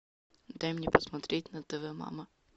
дай мне посмотреть на тв мама